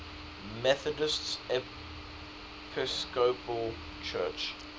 methodist episcopal church